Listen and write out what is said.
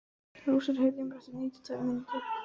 Rósar, heyrðu í mér eftir níutíu og tvær mínútur.